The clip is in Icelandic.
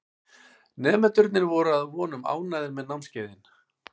Nemendurnir voru að vonum ánægðir með námskeiðin.